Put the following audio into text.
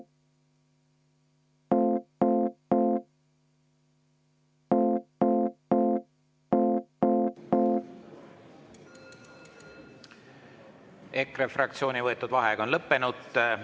EKRE fraktsiooni võetud vaheaeg on lõppenud.